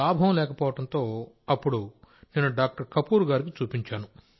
లాభం లేకపోవడంతో అప్పుడు నేను డాక్టర్ కపూర్ గారికి చూపించాను